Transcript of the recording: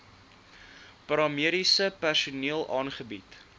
paramediese personeel aangebied